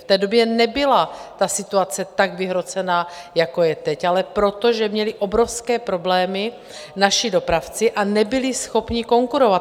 V té době nebyla situace tak vyhrocená, jako je teď, ale proto, že měli obrovské problémy naši dopravci a nebyli schopni konkurovat.